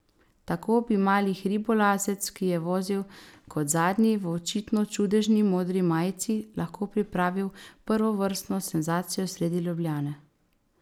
Tako bi mali hribolazec, ki je vozil kot zadnji v očitno čudežni modri majici, lahko pripravil prvovrstno senzacijo sredi Ljubljane.